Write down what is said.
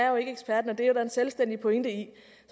jo ikke ekspert og det er der en selvstændig pointe i